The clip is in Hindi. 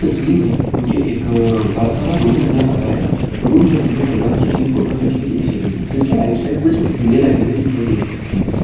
तस्वीर में मुझे एक बड़ा सा रूम नजर आ रहा है रूम में मुझे भगवान जी की फोटो लगी हुई दिखाई दे रही है जिसके आउटसाइड कुछ दिए लगाए हुए दिख सकते हैं।